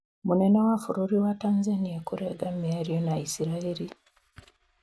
Mũnene wa bũrũri wa Tanzania kũrenga mĩario na Israel